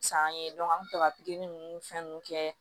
San ye an bɛ sɔrɔ ka pikiri ninnu fɛn ninnu kɛ